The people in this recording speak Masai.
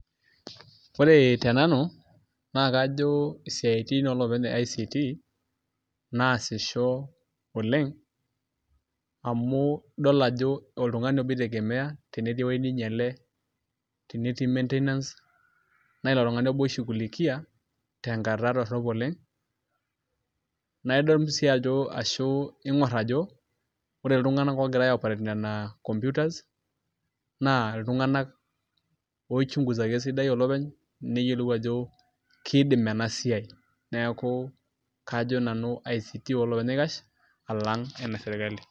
Ore te nanu naa kajo isiaitin oloopeny e ICT naasisho oleng' amu idol ajo ore oltung'ani obo oitegemeai tenetii ewueji nainyiale tenetii [cs[maintenance naa ilo tung'ani obo itegemea tenkata dorrop oleng' naa idol sii ajo ashu iing'orr ajo ore iltung'anak oogira aioperate nena computers naa iltung'anak oichunguzaki esidai olopeny neyiolou ajo kiidim ena siai neeku kajo nanu ICT olopeny naikash alang' ene sirkali.